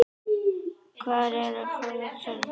Hvar er frú Helga?